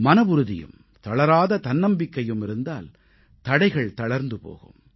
மனவுறுதியும் தளராத தன்னம்பிக்கையும் இருந்தால் தடைகள் தளர்ந்து போகும்